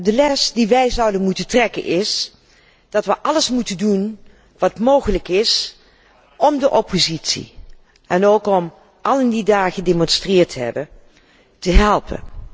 De les die wij zouden moeten leren, is dat we alles moeten doen wat mogelijk is om de oppositie en allen die daar gedemonstreerd hebben, te helpen.